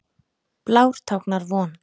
Blár táknar von.